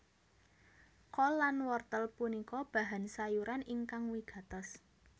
Kol lan wortel punika bahan sayuran ingkang wigatos